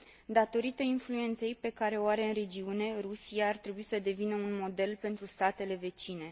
Datorită influenței pe care o are în regiune, Rusia ar trebui să devină un model pentru statele vecine.